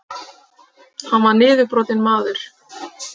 Hann var niðurbrotinn maður.